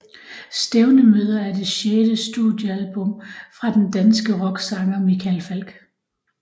Stævnemøder er det sjette studiealbum fra den danske rocksanger Michael Falch